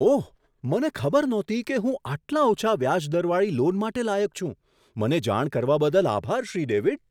ઓહ! મને ખબર નહોતી કે હું આટલા ઓછા વ્યાજ દરવાળી લોન માટે લાયક છું. મને જાણ કરવા બદલ આભાર, શ્રી ડેવિડ.